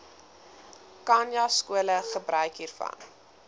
khanyaskole gebruik hiervan